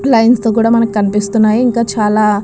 Lines తో కూడా మనకు కనిపిస్తున్నాయి. ఇంకా చాలా --